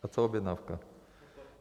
A co objednávka?